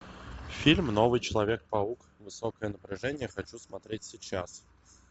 фильм новый человек паук высокое напряжение хочу смотреть сейчас